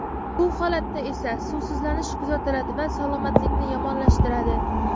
Bu holatda esa suvsizlanish kuzatiladi va salomatlikni yomonlashtiradi.